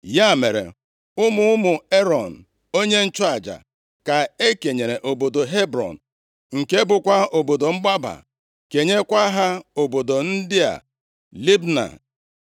Ya mere, ụmụ ụmụ Erọn, onye nchụaja, ka e kenyere obodo Hebrọn, nke bụkwa obodo mgbaba, kenyekwa ha obodo ndị a: Libna,